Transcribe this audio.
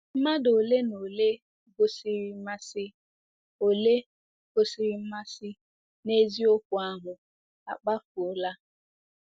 Mmadụ ole na ole gosiri mmasị ole gosiri mmasị n'eziokwu ahụ akpafuola.